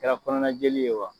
Kɛra kɔnɔnanjeli ye wa